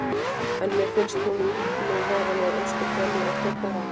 En mér finnst hún nú vera með ósköp venjulegt augnaráð.